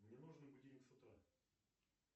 мне нужен будильник с утра